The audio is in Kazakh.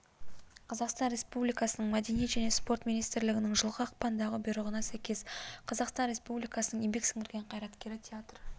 қазақстан республикасының мәдениет және спорт министрлігінің жылғы ақпандағы бұйрғына сәйкес қазақстан республикасының еңбек сіңірген қайраткері театр